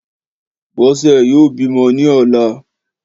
Bọ́sẹ̀ yóò bímọ ní ọ̀la